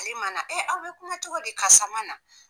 Ali ma na e aw be kuma cogo di karisa ma na